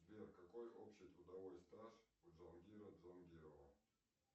сбер какой общий трудовой стаж у джангира джангирова